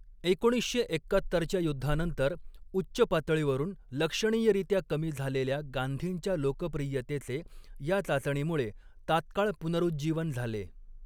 एकोणीसशे एक्कात्तरच्या युद्धानंतर उच्च पातळीवरून लक्षणीयरीत्या कमी झालेल्या गांधींच्या लोकप्रियतेचे या चाचणीमुळे तात्काळ पुनरुज्जीवन झाले.